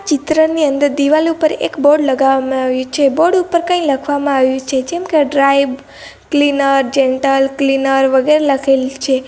ચિત્રની અંદર દિવાલ ઉપર એક બોર્ડ લગાવવામાં આવ્યુ છે બોર્ડ ઉપર કંઈ લખવામાં આવ્યું છે જેમ કે ડ્રાય ક્લીનર જેન્ટલ ક્લીનર વગેરે લખેલ છે.